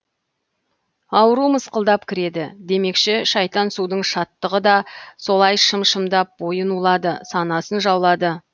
ауру мысқылдап кіреді демекші шайтан судың шаттығы да солай шым шымдап бойын улады санасын жаулады